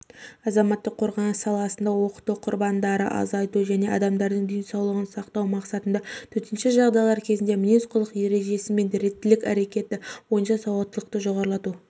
азаматтық қорғаныс саласында оқыту құрбандарды азайту және адамдардың денсаулығын сақтау мақсатында төтенше жағдайлар кезінде мінез-құлық ережесімен реттілік әрекетті бойынша сауаттылықты жоғарылату